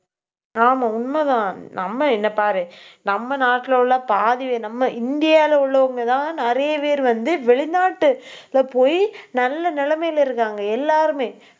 ஆமாம், உண்மைதான். நம்ம என்னைப் பாரு. நம்ம நாட்டுல உள்ள பாதி நம்ம இந்தியாவுல உள்ளவங்கதான் நிறைய பேர் வந்து வெளிநாட்டு போயி நல்ல நிலைமையில இருக்காங்க. எல்லாருமே